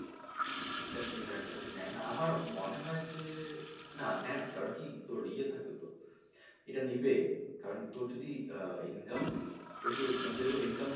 এটার সুবিধা হচ্ছে একটা নেয় না আমার মনে হচ্ছে না নেয় না কারন কি তোর ইয়ে থাকবে তো এটা নিবে কারন তোর যদি income মানে যেমন income ওদের যে,